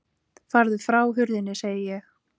Farðu frá hurðinni, segi ég!